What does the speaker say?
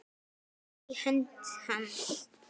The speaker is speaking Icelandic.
Hann tók í hönd hans.